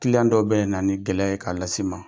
dɔw bɛ na ni gɛlɛya ye k'a lase i ma.